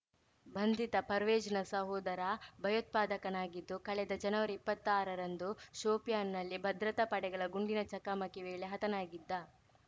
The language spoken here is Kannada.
ಬಂಧಿತ ಪರ್ವೇಜ್‌ನ ಸೋದರ ಭಯೋತ್ಪಾದಕನಾಗಿದ್ದು ಕಳೆದ ಜನವರಿಇಪ್ಪತ್ತಾರರಂದು ಶೋಪಿಯಾನ್‌ನಲ್ಲಿ ಭದ್ರತಾ ಪಡೆಗಳ ಗುಂಡಿನ ಚಕಮಕಿ ವೇಳೆ ಹತನಾಗಿದ್ದ